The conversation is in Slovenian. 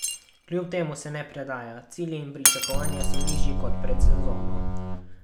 Kljub temu se ne predaja: "Cilji in pričakovanja so nižji kot pred sezono.